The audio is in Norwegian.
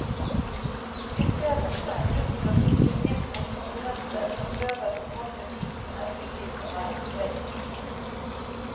Vi ser også en grunn til å gripe inn mot konkurrenter som prøver å kapre kundene til de som er i streik.